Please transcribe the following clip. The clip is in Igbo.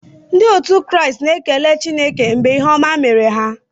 Ndị otu Kraịst na-ekele Chineke mgbe ihe ọma mere ha.